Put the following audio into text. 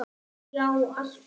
Já alltaf.